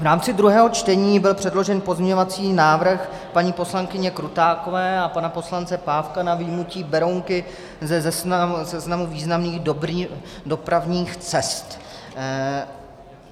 V rámci druhého čtení byl předložen pozměňovací návrh paní poslankyně Krutákové a pana poslance Pávka na vyjmutí Berounky ze seznamu významných dopravních cest.